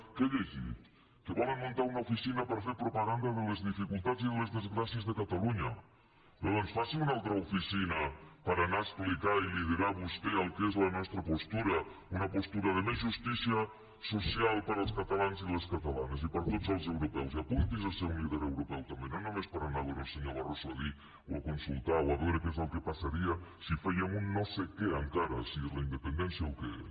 què he llegit que volen muntar una oficina per a fer propaganda de les difi cultats i les desgràcies de catalunya doncs faci una altra oficina per a anar a explicar i liderar vostè el que és la nostra postura una postura de més justícia social per als catalans i les catalanes i per a tots els europeus i apunti’s a ser un líder europeu també no només per anar a veure el senyor barroso a dir o a consultar o a veure què és el que passaria si fèiem un no sé què encara si és la independència o què és